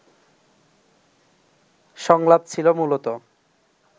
সংলাপ ছিল মূলত